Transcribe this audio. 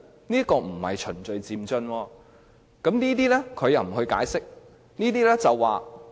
這並不是循序漸進，但卻沒有任何解釋。